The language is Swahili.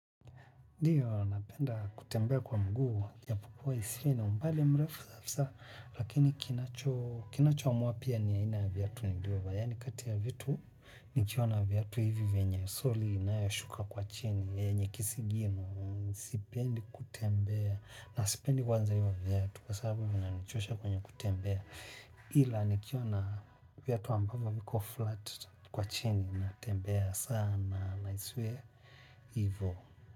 Ndiyo, napenda kutembea kwa mguu, japokuwa isiwe ni umbali mrefu kabisa, lakini kinacho, kinacho amua pia ni aina viatu nilivyovaa, yani kati ya vitu, nikiona viatu hivi venye soli inayoshuka kwa chini, yenye kisigino, sipendi kutembea, na sipendi kwanza hivo viatu, kwa sababu vinanichosha kwenye kutembea, ila nikiona viatu ambapo viko flat kwa chini, natembea sana, na isiwe, hivo.